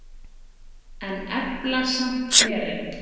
En efla samt herinn.